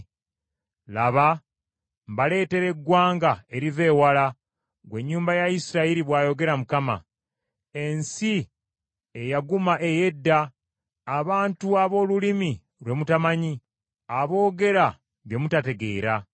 Laba, mbaleetera eggwanga eriva ewala, ggwe ennyumba ya Isirayiri,” bw’ayogera Mukama . Ensi eyaguma ey’edda, abantu ab’olulimi lwe mutamanyi aboogera bye mutategeera